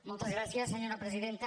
moltes gràcies senyora presidenta